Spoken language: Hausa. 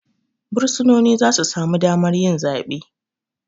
Bursunoni zasu samu damar yi zabe